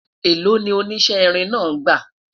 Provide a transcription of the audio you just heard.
èlò ni o oníṣe irin náà gba?